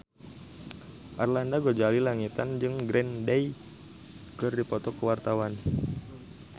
Arlanda Ghazali Langitan jeung Green Day keur dipoto ku wartawan